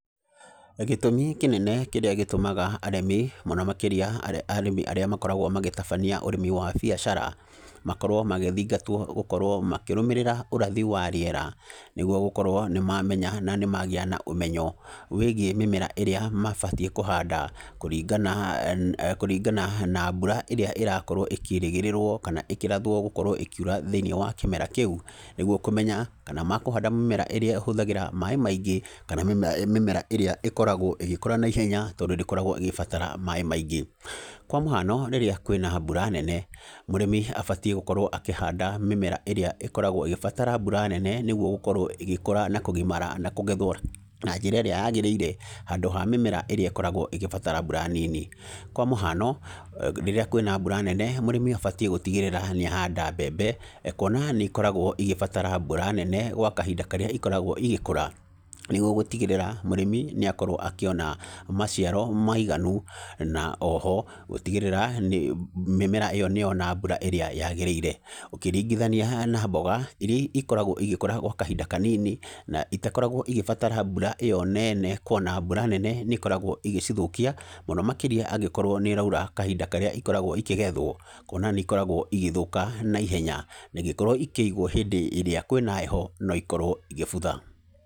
Gĩtũmi kĩnene kĩrĩa gĩtũmaga arĩmi, mũno makĩria arĩmi arĩa makoragwo magĩtabania ũrĩmi wa biacara, makorwo magĩthingatwo gũkorwo makĩrũmĩrĩra ũrathi wa rĩera, nĩguo gũkorwo nĩ mamenya, na nĩ magĩa na ũmenyo wĩgiĩ mĩmera ĩrĩa mabatiĩ kũhanda, kũringana kũringana na mbura ĩrĩa ĩrakorwo ikĩrĩgĩrĩrwo, kana ĩkĩrathwo gũkorwo ĩkiura thĩiniĩ wa kĩmera kĩu. Nĩguo kũmenya, kana makũhanda mĩmera ĩrĩa ĩhũthagĩra maaĩ maingĩ, kana mĩmera ĩrĩa ĩkoragwo ĩgĩkũra naihenya tondũ ndĩkoragwo ĩgĩbatara maaĩ maingĩ. Kwa mũhano, rĩrĩa kwĩna mbura nene, mũrĩmi abatiĩ gũkorwo akĩhanda mĩmera ĩrĩa ĩkoragwo ĩgĩbatara mbura nene nĩguo gũkorwo ĩgĩkũra na kũgimara na kũgethwo na njĩra ĩrĩa yagĩrĩire, handũ ha mĩmera ĩrĩa ĩkoragwo ĩgĩbatara mbura nini. Kwa mũhano, rĩrĩa kwĩna mbura nene, mũrĩmi abatiĩ gũtigĩrĩra nĩ ahanda mbembe, kuona nĩ ikoragwo igĩbatara mbura nene, gwa kahinda karĩa ikoragwo igĩkũra, nĩguo gũtigĩrĩra, mũrĩmi nĩ akorwo akĩona maciaro maiganu, na oho, gũtigĩrĩra, nĩ mĩmera ĩyo nĩ yona mbura ĩrĩa yagĩrĩire. Ũkĩringithania na mboga, irĩa ikoragwo igĩkũra gwa kahinda kanini, na itakoragwo igĩbatara mbura ĩyo nene kuona mbura nene nĩ ĩkoragwo ĩgĩcithũkia, mũno makĩria angĩkorwo nĩ ĩraura kahinda karĩa ikoragwo ikĩgethwo. Kuona nĩ ikoragwo igĩthũka naihenya, na ingĩkorwo ikĩigwo hĩndĩ ĩrĩa kwĩna heho, no ikorwo igĩbutha.